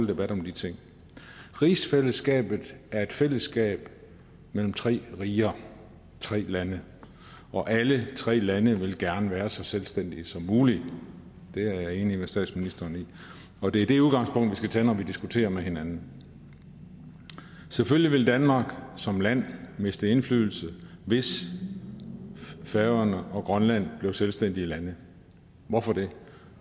debat om de ting rigsfællesskabet er et fællesskab mellem tre riger tre lande og alle tre lande vil gerne være så selvstændige som muligt det er jeg enig med statsministeren i og det er det udgangspunkt vi skal tage når vi diskuterer med hinanden selvfølgelig ville danmark som land miste indflydelse hvis færøerne og grønland blev selvstændige lande hvorfor det